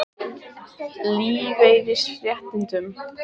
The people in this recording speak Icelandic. Vilja afnema ríkisábyrgð á lífeyrisréttindum